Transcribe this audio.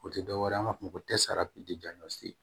O tɛ dɔwɛrɛ ye an b'a fɔ o ma ko